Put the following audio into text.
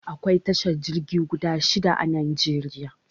Akwai tashar jirgi guda shida a Najeriya.